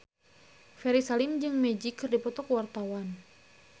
Ferry Salim jeung Magic keur dipoto ku wartawan